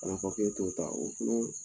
K'o papiye to ye tan o kulo